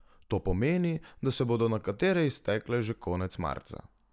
To pomeni, da se bodo nekatere iztekle že konec marca.